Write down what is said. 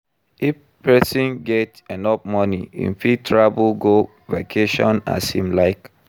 If persin get enough money im fit travel go vacation as im like